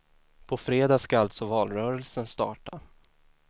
På fredag ska alltså valrörelsen starta.